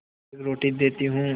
एक रोटी देती हूँ